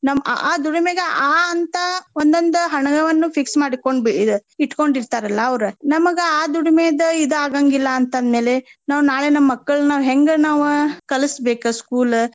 ನಮ್ ಆ ಆ ದುಡಿಮೆಗೆ ಆ ಆ ಅಂತಾ ಒಂದೊಂದ್ ಹಣವನ್ನು fix ಮಾಡಿಕೊಂಡ್ ಬಿ~ ಇಟ್ಕೊಂಡಿರ್ತಾರಲ್ಲಾ ಅವ್ರ. ನಮಗ ಆ ದುಡಿಮೆದ ಇದ್ ಆಗಾಂಗಿಲ್ಲಾ ಅಂತ ಅಂದ್ಮೇಲೆ ನಾವ್ ನಾಳೆ ನಮ್ಮ ಮಕ್ಕಳ್ನ ನಾವ್ ಹೆಂಗ್ ನಾವ್ ಕಲಸ್ಬೇಕ school .